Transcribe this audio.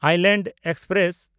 island express